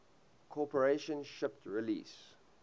corporation shipped release